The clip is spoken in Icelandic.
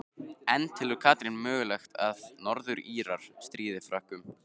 En telur Katrín mögulegt að Norður Írar stríði Frökkum?